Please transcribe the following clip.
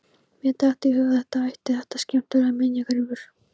Mér datt í hug að þér þætti þetta skemmtilegur minjagripur!